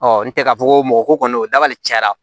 n tɛ ka fɔ ko mɔgɔ ko kɔni o dabali cayara